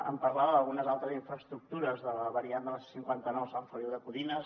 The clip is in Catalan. em parlava d’algunes altres infraestructures de la variant de la c cinquanta nou a sant feliu de codines